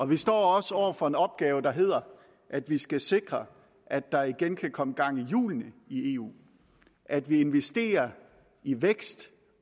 vi står også over for en opgave der hedder at vi skal sikre at der igen kan komme gang i hjulene i eu at vi investerer i vækst